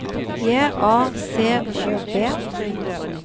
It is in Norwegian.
J A C O B